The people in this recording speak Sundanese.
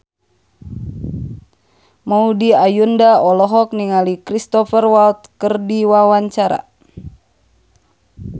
Maudy Ayunda olohok ningali Cristhoper Waltz keur diwawancara